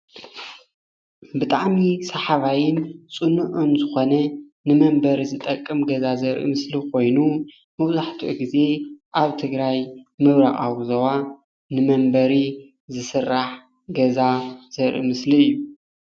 ብጣዕሚ ሰሓባይን ፅኑዕን ዝኾነ ንመምበሪ ዝጠቅም ገዛ ዘርኢ ምስሊ ኾይኑ መብዛሕትኡ ግዜ ኣብ ትግራይ ምብራቃዊ ዞባ ንመንበሪ ዝስራሕ ገዛ ዘርኢ ምስሊ እዩ።